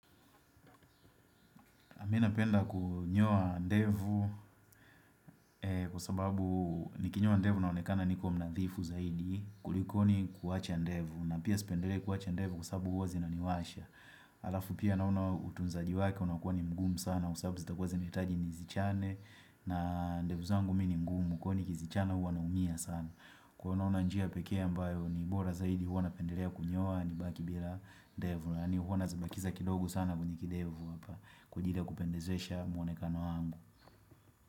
A mi napenda kunyoa ndevu kwa sababu nikinyoa ndevu naonekana niko mnadhifu zaidi kulikoni kuwacha ndevu. Na pia spendelei kuwacha ndevu kwa sababu huwa zina niwasha. Alafu pia naona utunzaji wake unakuwa ni mgumu sana sababu zita kuwa zinaitaji nizichane. Na ndevu zangu mi ni mgumu kwa hio nikizichana huwa naumia sana. Kuwa unaona njia peke ambayo ni bora zaidi huwa napendelea kunyoa nibaki bila ndevu. Kwani huwa nazibakiza kidogo sana kwenye kidevu hapa Kwa ajili ya kupendezesha mwonekano wangu.